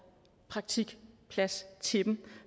en praktikplads til dem